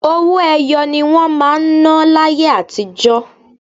Owó ẹyọ ni wọ́n máa ń ná láyé àtijó.